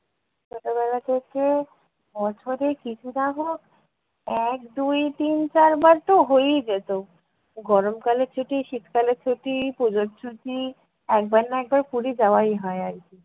ছোটবেলা থেকে বছরে কিছু না হোক এক দুই তিন চার বার তো হয়েই যেত, গরমকালে ছুটি শীতকালে ছুটি পূজোর ছুটি একবার না একবার পুরী যাওয়াই হয় আর কী।